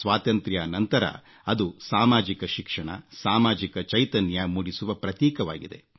ಸ್ವಾತಂತ್ರ್ಯಾ ನಂತರ ಅದು ಸಾಮಾಜಿಕ ಶಿಕ್ಷಣ ಸಾಮಾಜಿಕ ಚೈತನ್ಯ ಮೂಡಿಸುವ ಪ್ರತೀಕವಾಗಿದೆ